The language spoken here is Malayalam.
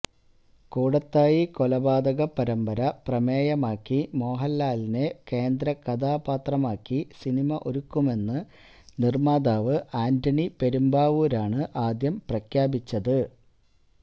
കൂടത്തായി കൊലപാതക പരമ്പര പ്രമേയമാക്കി മോഹൻലാലിനെ കേന്ദ്ര കഥാപാത്രമാക്കി സിനിമ ഒരുക്കുമെന്ന് നിർമ്മാതാവ് ആന്റണി പെരുമ്പാവൂരാണ് ആദ്യം പ്രഖ്യാപിച്ചത്